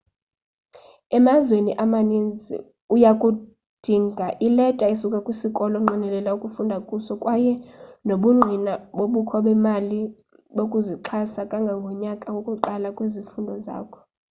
emazweni amanintsi uyakudinga ileta esukaa kwisikolo onqwenela ukufunda kuso kwaye nobungqina bobukho bemali yokuzixhasa kangangonyaka wokuqala wezifundo zakho